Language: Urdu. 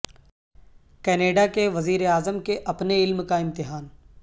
کینیڈا کے وزیر اعظم کے اپنے علم کا امتحان